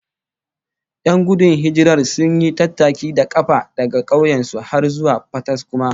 Yan gudun hijirar sun yi tattaki da kafa daga kauyen su har zuwa Fataskuma